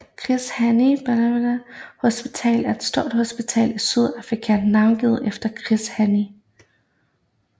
Chris Hani Baragwanath Hospital er et stort hospital i Sydafrika navngivet efter Chris Hani